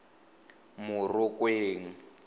morokweng